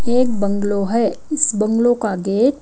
एक बंगलो है इस बंगलो का गेट --